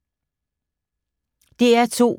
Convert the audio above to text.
DR2